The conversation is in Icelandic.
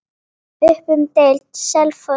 Upp um deild:, Selfoss